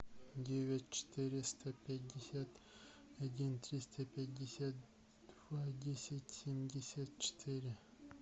девять четыреста пятьдесят один триста пятьдесят два десять семьдесят четыре